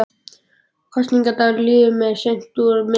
Kosningadagurinn líður mér seint úr minni.